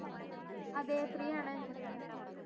അതെ free ആണ്